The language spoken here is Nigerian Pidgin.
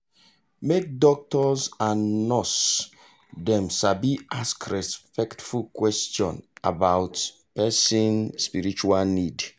make doctors and nurse dem sabi ask respectful question about person spiritual need